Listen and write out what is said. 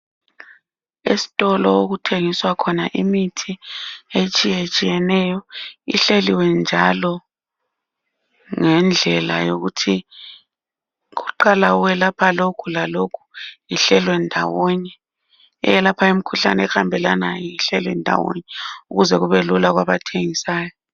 Esitolo okuthengiswa khona imithi etshiyetshiyeneyo ihleliwe njalo ngendlela yokuthi kuqala okwelapha lokhu lalokhu ihlelwe ndawonye. Eyelapha imikhuhlane ehambelanayo ihleli ndawonye ukuze kubelula kwabathegisayo.